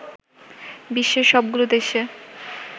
বিশ্বের সবগুলো দেশে